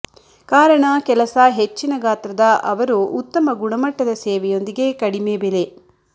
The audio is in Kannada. ಕಾರಣ ಕೆಲಸ ಹೆಚ್ಚಿನ ಗಾತ್ರದ ಅವರು ಉತ್ತಮ ಗುಣಮಟ್ಟದ ಸೇವೆಯೊಂದಿಗೆ ಕಡಿಮೆ ಬೆಲೆ